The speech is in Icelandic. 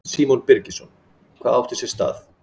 Símon Birgisson: Hvað átti sér stað?